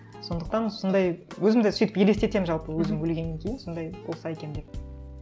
сондықтан сондай өзім де сөйтіп елестетемін жалпы өзім өлгеннен кейін сондай болса екен деп